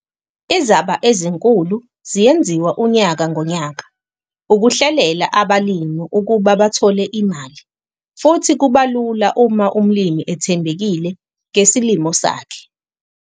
Izaba ezinkulu ziyenziwa unyaka ngonyaka ukuhlelela abalimi ukuba bathole imali futhi kuba lula uma umlimi ethembekile ngesilimo sakhe.